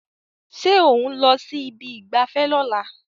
Ṣé ò ń lọ sí ibi ìgbafẹ́ lọ́la